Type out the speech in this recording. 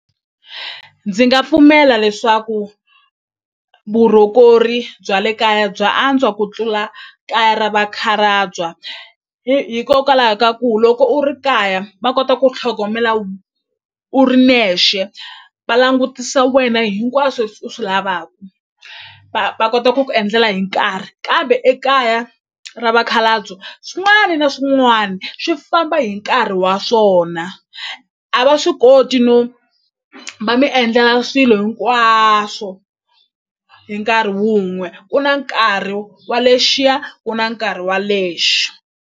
Ndzi nga pfumela leswaku bya le kaya bya antswa ku tlula kaya ra vakhalabya hikokwalaho ka ku loko u ri kaya va kota ku tlhogomela u ri nexe va langutisa wena hinkwaswo u swi lavaku va va kota ku ku endlela hi nkarhi kambe ekaya ra vakhalabya swin'wani na swin'wani swi famba hi nkarhi wa swona a va swi koti no va mi endlela swilo hinkwaswo hi nkarhi wun'we ku na nkarhi wa lexiya ku na nkarhi wa lexo.